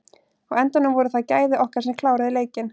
Á endanum voru það gæði okkar sem kláruðu leikinn.